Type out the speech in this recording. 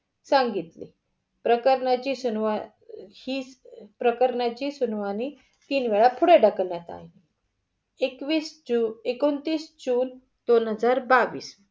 सांगितले. प्रकरणाची ही प्रकरणाची सुनवाही तीन वेळा पुढं ढकलण्यात अली. एकवीस जून. एकोणतीस जून दोन हजार बावीस.